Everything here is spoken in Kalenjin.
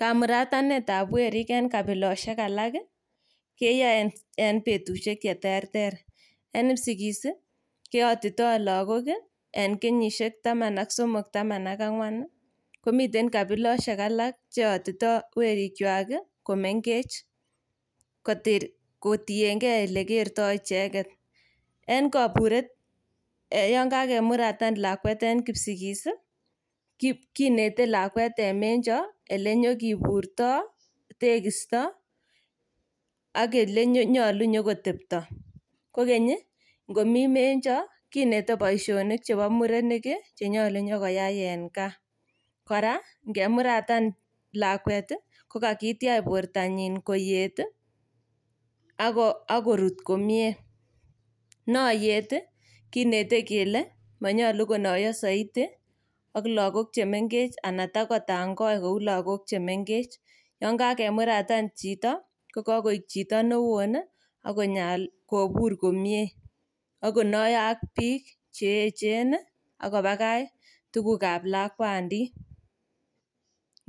Kamuratanetab werik en kabiosiek alak ii keyoe en betusiek cheterter . En kipsigis ii keyotito logok ii en kenyisiek taman ak somok taman ak ang'wan ii komiten kabilosiek alak cheyotito werikwak komengech kotiengei olekerto icheket. En koburet ii yon kakimuratan lakwet en kipsigis ki kinete lakwet en menjo ilenyokiburto, tekisto ok ilenyolu kotepto. Kokeny ii ngomi menjo kinete boisionik chebo murenik ii chenyolu inyokoyai en gaa. Kora ingemuratan lakwet ii kokakitiach bortanyin koyet ii ak korut komie. Noyet kinete kele, monyolu konoyo soiti ak logok chemengech ala kotakotangoi ak logok chemengech. Yon kakemuratan chito kokoik chito newon ii ak konyo kobur komie ak konoyo ok biik cheechen ii ak kobakach tugukab lakwandit.